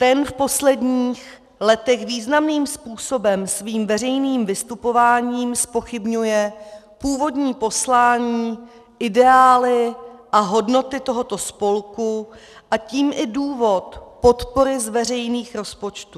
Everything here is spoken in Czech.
Ten v posledních letech významným způsobem svým veřejným vystupováním zpochybňuje původní poslání, ideály a hodnoty tohoto spolku, a tím i důvod podpory z veřejných rozpočtů.